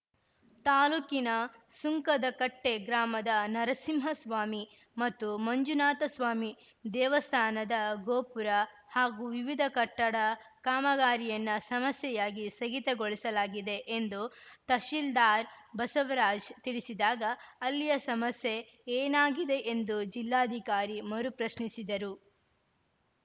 ತಾಲೂಕಿನ ಸುಂಕದಕಟ್ಟೆಗ್ರಾಮದ ನರಸಿಂಹಸ್ವಾಮಿ ಮತ್ತು ಮಂಜುನಾಥಸ್ವಾಮಿ ದೇವಸ್ಥಾನದ ಗೋಪುರ ಹಾಗೂ ವಿವಿಧ ಕಟ್ಟಡ ಕಾಮಗಾರಿಯನ್ನ ಸಮಸ್ಯೆಯಾಗಿ ಸ್ಥಗಿತಗೊಳಿಸಲಾಗಿದೆ ಎಂದು ತಸೀಲ್ದಾರ್‌ ಬಸವರಾಜ್‌ ತಿಳಿಸಿದಾಗ ಅಲ್ಲಿಯ ಸಮಸ್ಯೆ ಏನಾಗಿದೆ ಎಂದು ಜಿಲ್ಲಾಧಿಕಾರಿ ಮರು ಪ್ರಶ್ನಿಸಿದರು